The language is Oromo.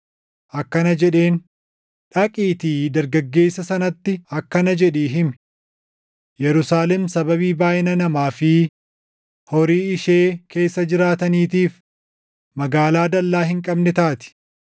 akkana jedheen: “Dhaqiitii dargaggeessa sanatti akkana jedhii himi; ‘Yerusaalem sababii baayʼina namaa fi horii ishee keessa jiraataniitiif magaalaa dallaa hin qabne taati.